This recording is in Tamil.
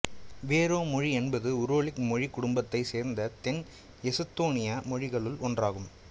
வோரோ மொழி என்பது உராலிக்கு மொழிக்குடும்பத்தை சேர்ந்த தென் எசுத்தோனியா மொழிகளுள் ஒன்றாகும்